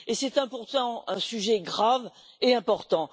C'est pourtant un sujet grave et important.